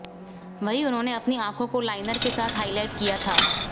वहीं उन्होंने अपनी आंखो को लाइनर के साथ हाई लाइट किया था